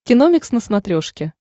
киномикс на смотрешке